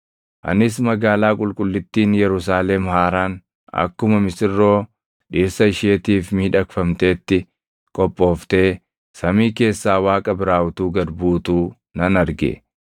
Anis magaalaa qulqullittiin Yerusaalem haaraan akkuma misirroo dhirsa isheetiif miidhagfamteetti qophooftee samii keessaa Waaqa biraa utuu gad buutuu nan arge.